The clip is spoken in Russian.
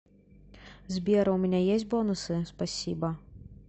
сбер а у меня есть бонусы спасибо